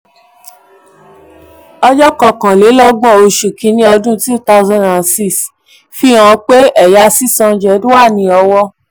31st 31st oṣù kini 2006 fihan pé ẹya 600 wà ní ọwọ.